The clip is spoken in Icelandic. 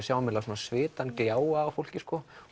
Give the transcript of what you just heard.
sjáum svitann gljáa á fólki